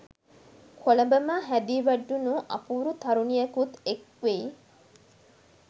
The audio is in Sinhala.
කොළඹම හැදී වැඩුණු අපූරු තරුණියකුත් එක් වෙයි.